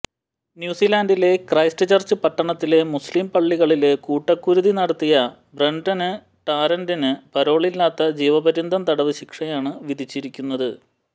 ന്യൂസിലാന്ഡിലെ ക്രൈസ്റ്റ്ചര്ച്ച് പട്ടണത്തിലെ മുസ്ലിം പള്ളികളില് കൂട്ടക്കുരുതി നടത്തിയ ബ്രെന്ടണ് ടാരന്റിന് പരോളില്ലാത്ത ജീവപര്യന്തം തടവ് ശിക്ഷയാണ് വിധിച്ചിരിക്കുന്നത്